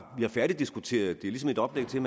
færdigdiskuteret det er ligesom et oplæg til